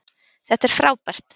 Þetta er frábært.